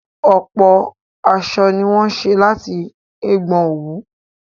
Ọ̀pọ̀ aṣọ ni wọ́n ṣé láti ẹ̀gbọn òwú